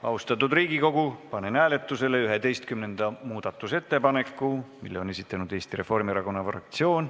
Austatud Riigikogu, panen hääletusele 11. muudatusettepaneku, mille on esitanud Eesti Reformierakonna fraktsioon.